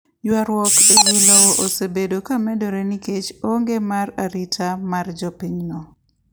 Ywarruok e wi lowo osebedo ka medore nikech onge mar ratiro mar jopinyno .